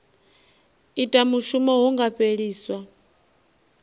ita mushumo hu nga fheliswa